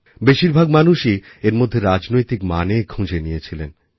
বেশির ভাগ মানুষই এর মধ্যে রাজনৈতিক মানে খুঁজে নিয়েছিলেন